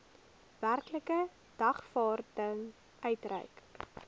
werklike dagvaarding uitgereik